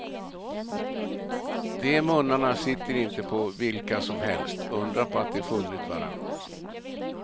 De munnarna sitter inte på vilka som helst, undra på att de funnit varann.